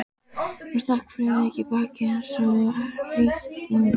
Hún stakk Friðrik í bakið eins og rýtingur.